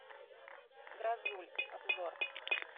грозуль обзор